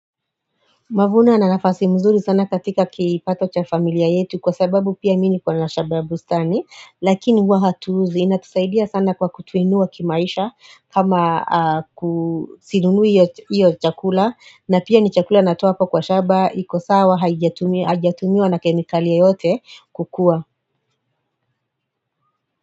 Mavuna na nafasi mzuri sana katika kipato cha familia yetu kwa sababu pia mi ni kwa na shamba bustani lakini huwa hatuuzi, inatusaidia sana kwa kutuinua kimaisha kama sinunui hiyo chakula na pia ni chakula natoa hapa kwa shamba, iko sawa, haijatumiwa na kemikali yote kukua.